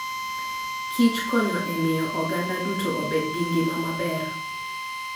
Kich konyo e miyo oganda duto obed gi ngima maber.